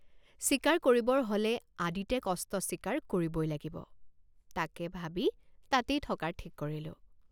চিকাৰ কৰিবৰ হলে আদিতে কষ্ট স্বীকাৰ কৰিবই লাগিব তাকে ভাবি তাতেই থকাৰ ঠিক কৰিলোঁ।